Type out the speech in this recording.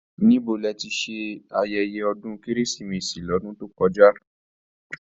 Níbo ní ẹ tí ṣe ayẹyẹ ọdún kérésìmesì l'ọdun to kọjá?